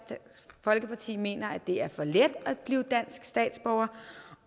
folkeparti mener at det er for let at blive dansk statsborger